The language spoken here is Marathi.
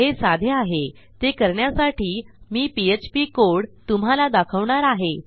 हे साधे आहे ते करण्यासाठी मी पीएचपी कोड तुम्हाला दाखवणार आहे